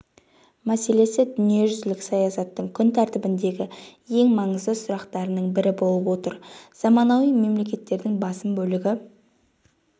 мәселесі дүниежүзілік саясаттың күн тәртібіндегі ең маңызды сұрақтарының бірі болып отыр заманауи мемлекеттердің басым бөлігі